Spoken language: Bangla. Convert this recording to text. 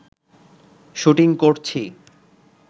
শ্যুটিং করছি